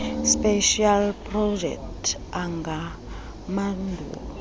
specials projects angamaphulo